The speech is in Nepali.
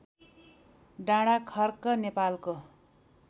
डाँडाखर्क नेपालको